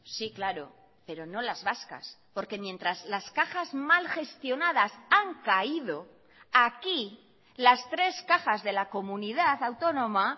sí claro pero no las vascas porque mientras las cajas mal gestionadas han caído aquí las tres cajas de la comunidad autónoma